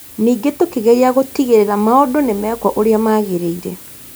Ningĩ tũkĩgeria gũtigĩrĩra maũndũ nĩ mekwo ũrĩa magĩrĩire